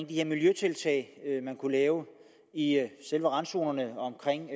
de her miljøtiltag man kunne lave i selve randzonerne omkring